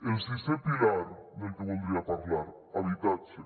el sisè pilar del que voldria parlar habitatge